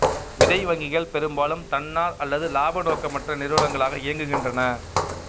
விதை வங்கிகள் பெரும்பாலும் தன்னார் அல்லது இலாப நோக்கமற்ற நிறுவனங்களாக இயங்குகின்றன